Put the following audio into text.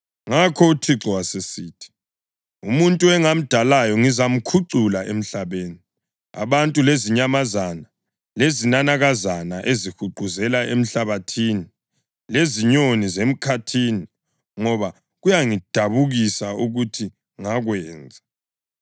Ngakho uThixo wasesithi, “Umuntu engamdalayo ngizamkhucula emhlabeni, abantu lezinyamazana, lezinanakazana ezihuquzela emhlabathini, lezinyoni zemkhathini ngoba kuyangidabukisa ukuthi ngakwenza.”